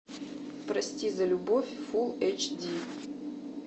прости за любовь фул эйч ди